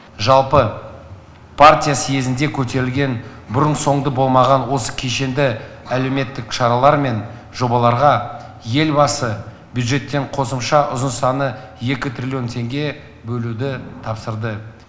жалпы партия съезінде көтерілген бұрын соңды болмаған осы кешенді әлеуметтік шаралар мен жобаларға елбасы бюджеттен қосымша ұзын саны екі триллион теңге бөлуді тапсырды